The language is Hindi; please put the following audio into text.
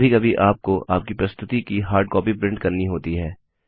कभी कभी आपको आपकी प्रस्तुति की हार्डकॉपी प्रिंट करनी होती है